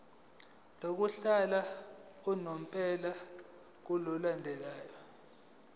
lokuhlala unomphela ngokulandela